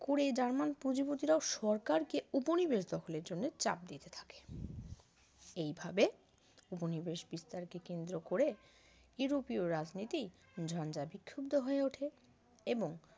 কুরে জার্মান পুঁজিপতিরাও সরকারকে উপনিবেশ দখলের জন্য চাপ দিতে থাকে এইভাবে উপনিবেশ বিস্তার কে কেন্দ্র করে ইউরোপীয় রাজনীতি ঝঞ্জা বিক্ষুব্দ হয়ে ওঠে এবং